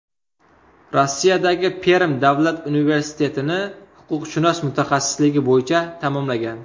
Rossiyadagi Perm davlat universitetini huquqshunos mutaxassisligi bo‘yicha tamomlagan.